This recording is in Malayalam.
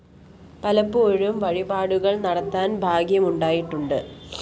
പലപ്പോഴും വഴിപാടുകള്‍ നടത്താന്‍ ഭാഗ്യം ഉണ്ടായിട്ടുണ്ട്